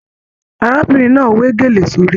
Arábìnrin náà we gélé sórí.